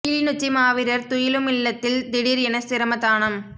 கிளிநொச்சி மாவீரர் துயிலுமில்லத்தில் திடீர் என சிரமதானம்